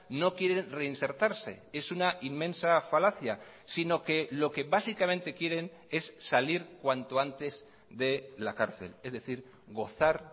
no quiere reinsertarse es una inmensa falacia sino que lo que básicamente quieren es salir cuanto antes de la cárcel es decir gozar